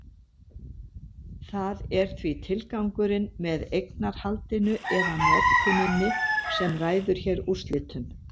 Það er því tilgangurinn með eignarhaldinu eða notkuninni sem ræður hér úrslitum.